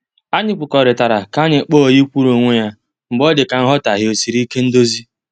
Anyị kwekọrịtara ka anyị kpọọ oyi kwuru onwe ya mgbe ọ dịka nghotaghie esiri ike ndozi.